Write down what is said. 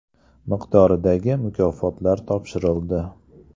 miqdoridagi mukofotlar topshirildi.